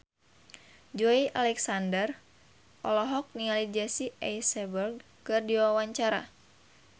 Joey Alexander olohok ningali Jesse Eisenberg keur diwawancara